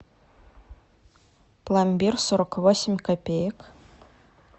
пломбир сорок восемь копеек